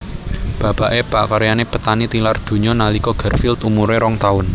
Bapaké pakaryané petani tilar donya nalika Garfield umuré rong taun